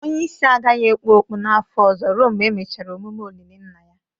Onye isi agaghị ekpu okpu n'afọ ọzọ ruo mgbe emechara emume olili nna ya